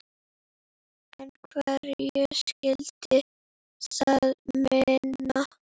En hverju skyldi það muna?